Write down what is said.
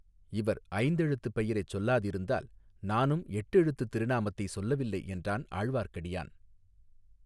இவர் ஐந்தெழுத்துப் பெயரைச் சொல்லாதிருந்தால் நானும் எட்டெழுத்துத் திருநாமத்தை சொல்லவில்லை என்றான் ஆழ்வார்க்கடியான்.